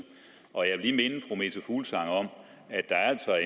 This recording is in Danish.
jeg meta fuglsang om at der altså